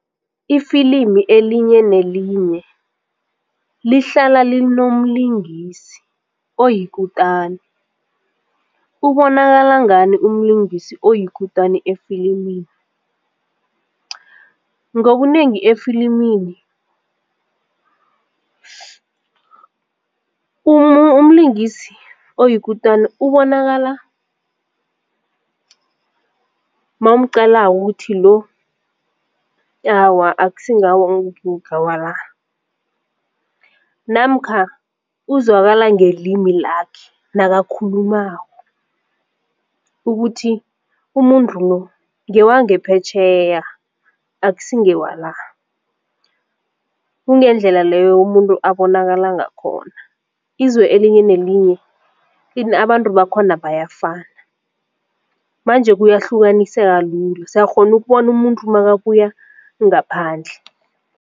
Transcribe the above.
Ifilimi elinye nelinye lihlala linomlingisi oyikutani ubonakala ngani umlingisi oyikutani efilimini? Ngobunengi efilimini umlingisi oyikutani ubonakala mawumqalako ukukuthi lo awa akusi ngawala, namkha uzwakala ngelimi lakhe nakakhulumako ukuthi umuntu lo ngewangephetjheya akusi ngewala. Kungendlela leyo umuntu abonakala ngakhona, izwe elinye nelinye abantu bakhona bayafana manje kuyahlukaniseka lula siyakghona ukubona umuntu makabuya ngaphandle.